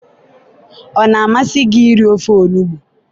ọ na-amasị gị iri ofe onugbu?